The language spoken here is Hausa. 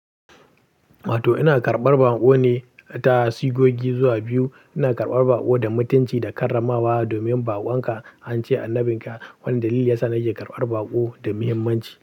Wato ina karɓar baƙo ne, ta ta sigogi zuwa biyu. Ina karɓar baƙo da mutunci da karramawa domin baƙon ka, an ce annabin ka. Wannan dalili yasa na ke karɓar baƙo da muhimmanci.